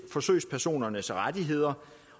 forsøgspersonernes rettigheder